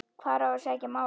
Hvar á að sækja málið?